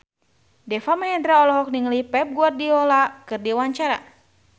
Deva Mahendra olohok ningali Pep Guardiola keur diwawancara